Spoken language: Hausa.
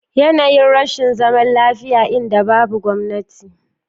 yanayin rashin zaman lafiya, inda babu gwamnati.